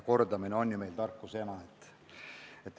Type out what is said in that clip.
Kordamine on ju tarkuse ema.